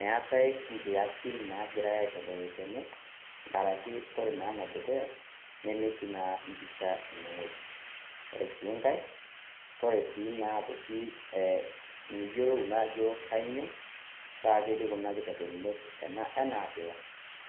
Meatai inkiasin naagirai aitodolu tene, enkaraki ore ene dukuya, nemetii naa emisha ene wueji, Ore sii enkai, naa miyiolou naa ajo kainyoo pee etii kuna kitodolunot ene enaabila,